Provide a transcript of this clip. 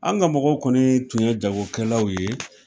An ka mɔgɔw kɔni tun ye jagokɛlawl ye